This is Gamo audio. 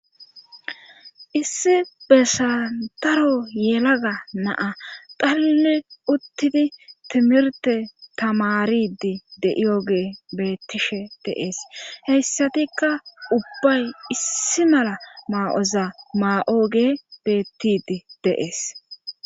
issi besantaro yelaga naa xalili uttidi timirte tamaridi de7iyogee beettishe deees heyssatikka ubbay issi mala maa7oza maa7o ge beettidi deees